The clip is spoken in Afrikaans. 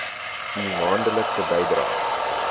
u maandelikse bydraes